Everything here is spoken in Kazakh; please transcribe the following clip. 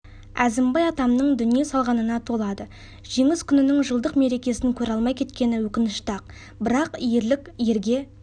әзімбай атамның дүние салғанына толады жеңіс күнінің жылдық мерекесін көре алмай кеткені өкінішті-ақ бірақ ерлік ерге